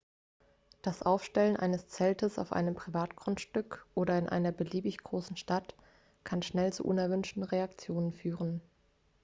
das aufstellen eines zeltes auf einem privatgrundstück oder in einer beliebig großen stadt kann schnell zu unerwünschten reaktionen führen